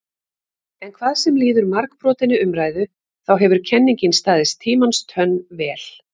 En hvað sem líður margbrotinni umræðu þá hefur kenningin staðist tímans tönn vel.